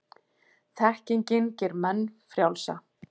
Þekkingin gerir menn frjálsa.